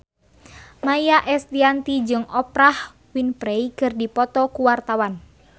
Maia Estianty jeung Oprah Winfrey keur dipoto ku wartawan